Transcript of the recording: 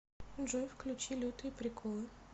джой включи лютые приколы